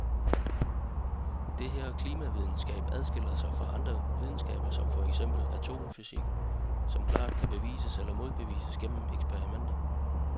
Det er her klimavidenskaben adskiller sig fra andre videnskaber som for eksempel atomfysik, som klart kan bevises eller modbevises gennem eksperimenter.